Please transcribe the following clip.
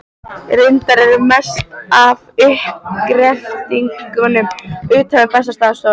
Reyndar er mest af uppgreftrinum utan við Bessastaðastofu.